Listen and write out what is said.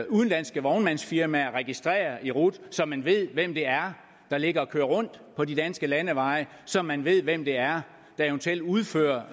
udenlandske vognmandsfirmaer registrere i rut så man ved hvem det er der ligger og kører rundt på de danske landeveje så man ved hvem det er der eventuelt udfører